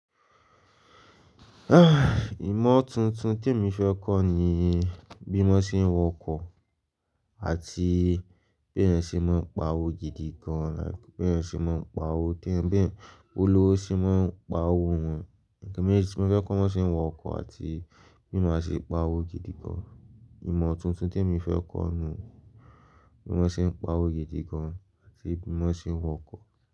Imọ̀ tuntun te mi fẹ́ kọ́ ni bí wọ́n ṣe ń w'ọkọ̀ àti bí ẹeyan ṣe máa ń pa owó gidi gan, bí ẹeyan ṣe máa ń pa owó teeyan--beeyan, b'olówó ṣe máa ń pa owó wọn. Mo fẹ́ kọ́ bí wọ́n ṣe ń wọ ọkọ̀ àti bí mo ṣe máa pa owó gidi gan. Imọ̀ tuntun te mi fẹ́ kọ́ ni bí wọ́n ṣe ń pa owó gidi gan àti bí wọ́n ṣe ń wọ ọkọ̀.